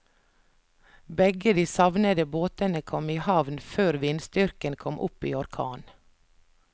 Begge de savnede båtene kom i havn før vindstyrken kom opp i orkan.